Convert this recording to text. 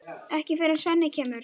Ekki fyrr en Svenni kemur.